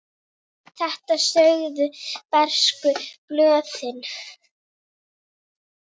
Þetta sögðu bresku blöðin.